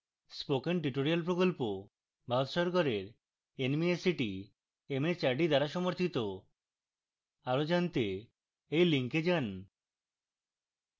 spoken tutorial প্রকল্প ভারত সরকারের nmeict mhrd দ্বারা সমর্থিত আরো জনাতে এই লিঙ্কে যান